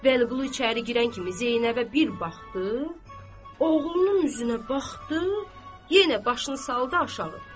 Vəliqulu içəri girən kimi Zeynəbə bir baxdı, oğlunun üzünə baxdı, yenə başını saldı aşağı.